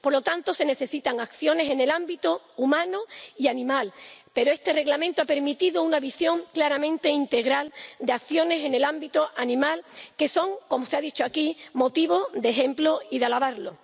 Por lo tanto, se necesitan acciones en el ámbito humano y animal, pero este Reglamento ha permitido una visión claramente integral de acciones en el ámbito animal que son, como se ha dicho aquí, motivo de ejemplo y de alabanza.